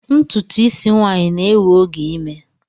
Ntutu isi nwanyi na-ewe oge ime